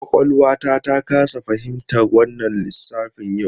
Kwakwalwata ta kasa fahimtar wannan lissafin yau.